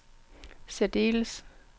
særdeles